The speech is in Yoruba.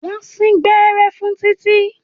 Wọ́n sín gbẹ́rẹ́ fún Títí.